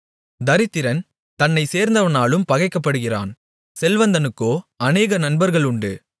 தரித்திரன் தன்னைச் சேர்ந்தவனாலும் பகைக்கப்படுகிறான் செல்வந்தனுக்கோ அநேக நண்பர்கள் உண்டு